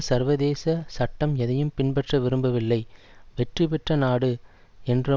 சர்வதேச சட்டம் எதையும் பின்பற்ற விரும்பவில்லை வெற்றி பெற்ற நாடு என்ற